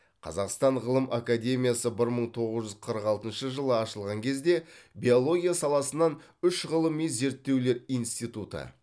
қазақстан ғылым академиясы бір мың тоғыз жүз қырық алтыншы жылы ашылған кезде биология саласынан үш ғылыми зерттеулер институты